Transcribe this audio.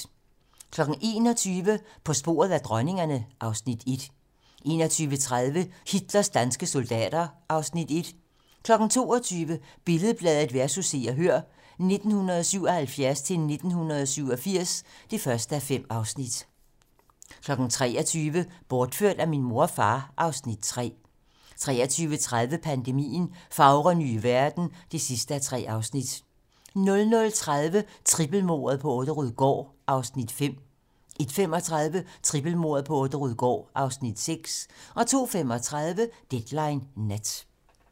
21:00: På sporet af dronningerne (Afs. 1) 21:30: Hitlers danske soldater (Afs. 1) 22:00: Billed-Bladet vs. Se og Hør (1977-1987) (1:5) 23:00: Bortført af min mor og far (Afs. 3) 23:30: Pandemien - Fagre nye verden (3:3) 00:30: Trippelmordet på Orderud gård (Afs. 5) 01:35: Trippelmordet på Orderud gård (Afs. 6) 02:35: Deadline nat